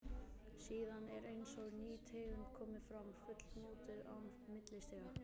Síðan er eins og ný tegund komi fram, fullmótuð, án millistiga.